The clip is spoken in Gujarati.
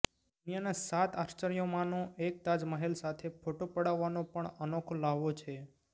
દુનિયાના સાત આશ્ચર્યોમાંનો એક તાજ મહેલ સાથે ફોટો પડાવવાનો પણ અનોખો લ્હાવો છે